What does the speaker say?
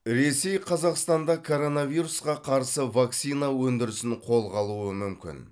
ресей қазақстанда коронавирусқа қарсы вакцина өндірісін қолға алуы мүмкін